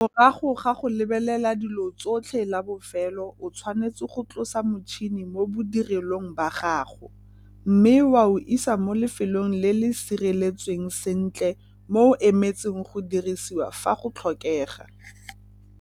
Morago ga go lebelela dilo tsotlhe la bofelo o tshwanetse go tlosa motšhene mo bodirelong ba gago mme wa o isa mo lefelong le le sireletsweng sentle mo o emetseng go dirisiwa fa go tlhokegwa.